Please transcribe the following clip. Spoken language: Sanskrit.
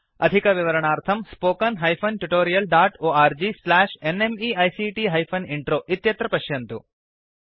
अधिकविवरणार्थं spoken hyphen tutorial dot org slash NMEICT hyphen intro इत्यत्र पश्यन्तु